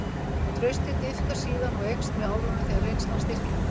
Traustið dýpkar síðan og eykst með árunum þegar reynslan styrkir það.